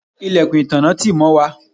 ilẹ̀kùn ìtanná tì mọ́ wà